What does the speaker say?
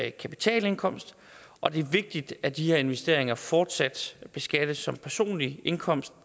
ikke kapitalindkomst og det er vigtigt at de her investeringer fortsat beskattes som personlig indkomst